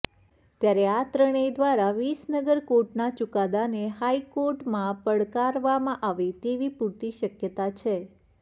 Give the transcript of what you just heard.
ત્યારે આ ત્રણેય દ્વારા વિસનગર કોર્ટના ચુકાદાને હાઈકોર્ટમાં પડકારવામાં આવે તેવી પૂરતી શકયતા છે